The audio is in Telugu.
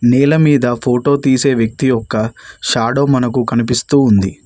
నేల మీద ఫోటో తీసే వ్యక్తి యొక్క షాడో మనకు కనిపిస్తూ ఉంది.